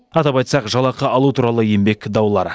қадап айтсақ жалақы алу туралы еңбек даулары